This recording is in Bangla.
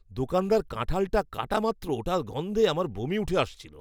দোকানদার কাঁঠালটা কাটা মাত্র ওটার গন্ধে আমার বমি উঠে আসছিল।